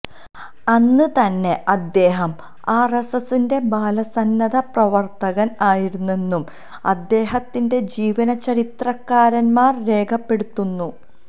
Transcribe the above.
അന്ന് തന്നെ അദ്ദേഹം ആര്എസ്എസിന്റെ ബാലസന്നദ്ധ പ്രവര്ത്തകന് ആയിരുന്നെന്നും അദ്ദേഹത്തിന്റെ ജീവചരിത്രകാരന്മാര് രേഖപ്പെടുത്തുന്നു